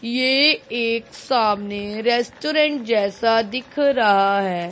ये एक सामने रेस्टोरेंट जैसा दिख रहा है।